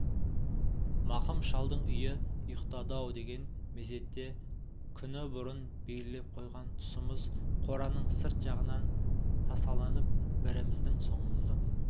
мақым шалдың үйі ұйықтады-ау деген мезетте күні бұрын белгілеп қойған тұсымыз қораның сырт жағынан тасаланып біріміздің соңымыздан